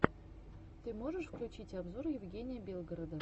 ты можешь включить обзор евгения белгорода